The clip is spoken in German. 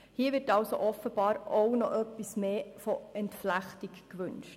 Hier wird also offenbar auch noch etwas mehr Entflechtung gewünscht.